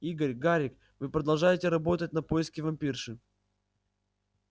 игорь гарик вы продолжаете работать на поиске вампирши